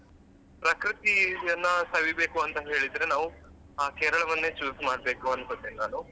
ಪ್ರಕೃತಿಯನ್ನ ಸವಿಬೇಕು ಅಂತ ಹೇಳಿದ್ರೆ ನಾವು ಆ Kerala ವನ್ನೇ choose ಮಾಡ್ಬೇಕು ಅನ್ಕೋತೇನೆ ನಾನು.